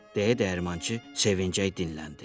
Deyə dəyirmançı sevinclə dinləndi.